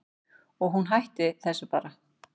Og hún hætti þessu bara.